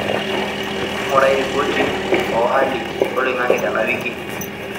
ngurai ripoti o halli oloingange tena wiki